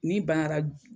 N'i banna